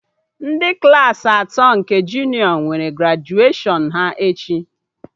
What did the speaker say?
Ndị Klassị atọ nke junịọ nwere grajuashọn ha echi